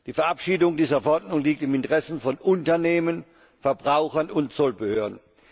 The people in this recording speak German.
Die Verabschiedung dieser Verordnung liegt im Interesse von Unternehmen, Verbrauchern und Zollbehörden.